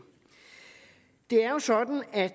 det er jo sådan at